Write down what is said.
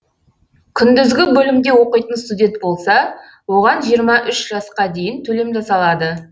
күндізгі бөлімде оқитын студент болса оған жиырма үш жасқа дейін төлем жасалады